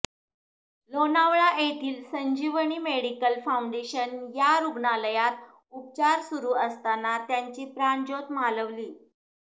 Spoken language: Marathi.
लोनावळा येथील संजीवनी मेडीकल फाऊंडेशन या रुग्णालयात उपचार सुरू असताना त्यांची प्राणज्योत मालवली